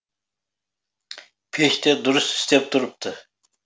пеш те дұрыс істеп тұрыпты